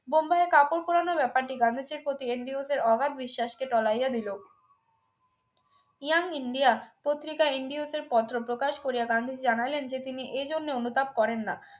বোম্বাইয়ের কাপড় পোড়ানো ব্যাপারটি গান্ধীজীর প্রতি আন্দ্রেউস এর অগাধ বিশ্বাসকে তলাইয়া দিল young india পত্রিকায় আন্দ্রেউস এর পত্র প্রকাশ করিয়া গান্ধীজি জানাইলেন যে তিনি এই জন্য অনুতাপ করেন না